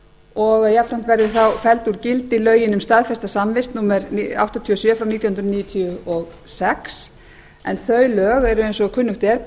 og að jafnframt verði þá felld úr gildi lögin um staðfesta samvist númer áttatíu og sjö nítján hundruð níutíu og sex en þau lög eru eins og kunnugt er